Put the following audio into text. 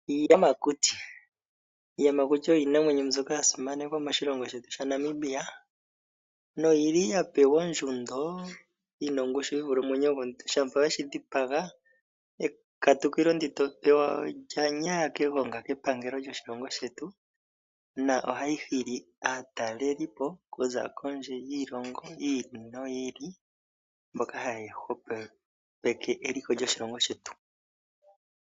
Iiyamakuti, iiyamakuti oyo iinamwenyo mbyoka ya simanekwa moshilongo shetu shaNamibia no yili ya pewa ondjundo yina ongushu yi vule omwenyo gomuntu, shampa weshi dhipaga ekatukilo ndoka to pewa olya nyaya kogonga kepangelo lyoshilongo shetu na ohayi hili aatalelipo oku za kondje yiilongo yi ili noyi ili mboka haya hwepo peke eliko lyoshilngo shetu.